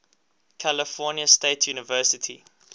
california state university